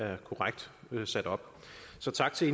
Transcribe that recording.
er korrekt sat op så tak til